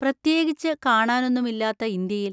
പ്രത്യേകിച്ച് കാണാൻ ഒന്നും ഇല്ലാത്ത ഇന്ത്യയിൽ!